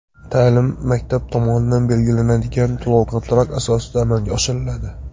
Ta’lim Maktab tomonidan belgilanadigan to‘lov-kontrakt asosida amalga oshiriladi.